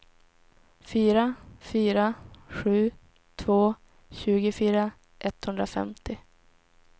fyra fyra sju två tjugofyra etthundrafemtio